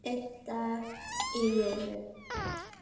Einn dag í einu.